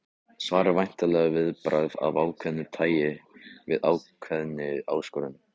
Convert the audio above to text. Svar er væntanlega viðbragð af ákveðnu tæi við ákveðinni áskorun.